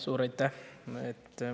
Suur aitäh!